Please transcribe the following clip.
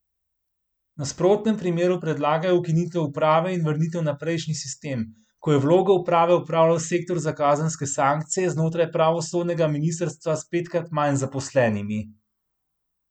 V nasprotnem primeru predlagajo ukinitev uprave in vrnitev na prejšnji sistem, ko je vlogo uprave opravljal sektor za kazenske sankcije znotraj pravosodnega ministrstva s petkrat manj zaposlenimi.